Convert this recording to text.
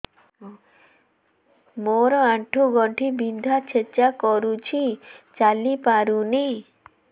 ମୋର ଆଣ୍ଠୁ ଗଣ୍ଠି ବିନ୍ଧା ଛେଚା କରୁଛି ଚାଲି ପାରୁନି